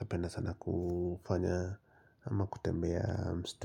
napenda sana kufanya ama kutembea mstuni.